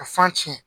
A fan tiɲɛ